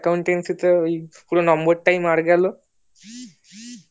Accountancy তে ওই পুরো নম্বরটি টাই মার গেলো